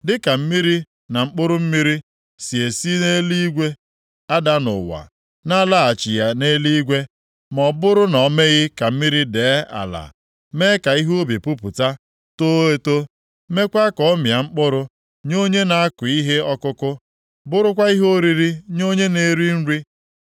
Dịka mmiri na mkpụrụ mmiri si esi nʼeluigwe ada nʼụwa na-alaghachighị nʼeluigwe ma ọ bụrụ na o meghị ka mmiri dee ala, mee ka ihe ubi pupụta, too eto, meekwa ka ọ mịa mkpụrụ nye onye na-akụ ihe ọkụkụ, bụrụkwa ihe oriri nye onye na-eri nri.